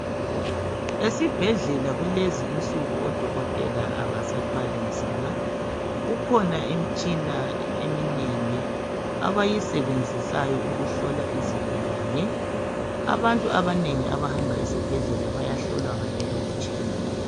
Esibhedlela kulezi insuku odokotela abasathwali nzima kukhona imtshina eminengi abayisebenzisayo ukuhlola izigulane. Abantu abanengi abahamba esibhedlela bayahlolwa ngaleyo mtshina.